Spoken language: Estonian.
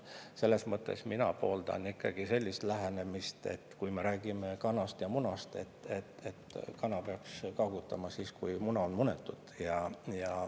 Mina pooldan ikkagi sellist lähenemist, kui me räägime kanast ja munast, et kana peaks kaagutama siis, kui muna on munetud.